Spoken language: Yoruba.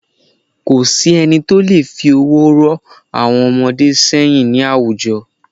Ko sí ẹni tó leè fi ọwọ́ ró àwon ọmọdé séyìn ní àwùjo